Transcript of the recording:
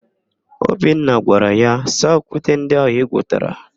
Obinna gwara ya, "saa okwute ndị ahụ igwuputara"!